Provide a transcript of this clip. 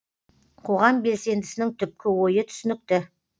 қоғам белсендісінің түпкі ойы түсінікті